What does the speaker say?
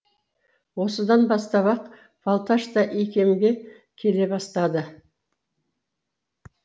осыдан бастап ақ балташ та икемге келе бастады